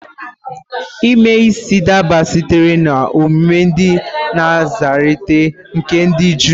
Ime isi dada sitere na omume ndị Nazaretị nke ndị Jụụ.